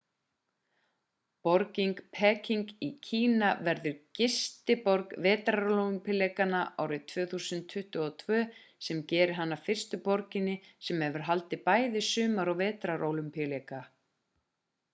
borgin peking í kína verður gistiborg vetrarólympíuleikanna árið 2022 sem gerir hana að fyrstu borginni sem hefur haldið bæði sumar og vetrarólympíuleika